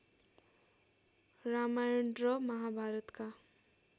रामायण र महाभारतका